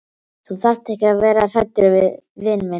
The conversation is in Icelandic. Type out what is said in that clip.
Þú þarft ekki að vera hræddur við vin þinn.